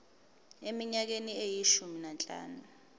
eminyakeni eyishumi nanhlanu